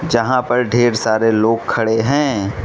जहां पर ढेर सारे लोग खड़े हैं।